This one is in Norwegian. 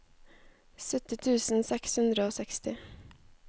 sytti tusen seks hundre og seksti